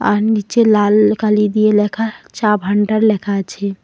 আর নিচে লাল কালি দিয়ে লেখা চা ভান্ডার লেখা আছে।